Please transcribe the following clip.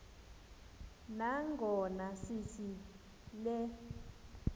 nangona sithi le